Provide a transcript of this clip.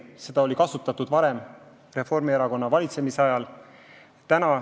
Seda oli kasutatud varem Reformierakonna valitsemise ajal.